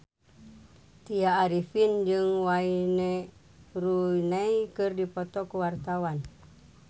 Tya Arifin jeung Wayne Rooney keur dipoto ku wartawan